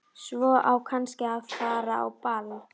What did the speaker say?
Svo á kannski að fara á ball.